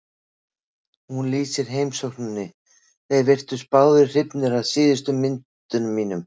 Hún lýsir heimsókninni: Þeir virtust báðir hrifnir af síðustu myndunum mínum.